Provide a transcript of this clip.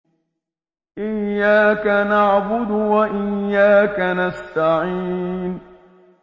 إِيَّاكَ نَعْبُدُ وَإِيَّاكَ نَسْتَعِينُ